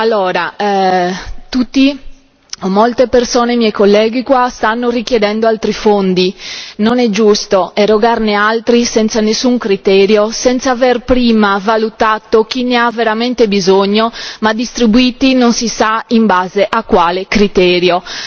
Allora i miei colleghi stanno richiedendo altri fondi non è giusto erogarne altri senza alcun criterio, senza aver prima valutato chi ne ha veramente bisogno, ma distribuirli non si sa in base a quale criterio.